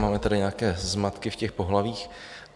Máme tady nějaké zmatky v těch pohlavích.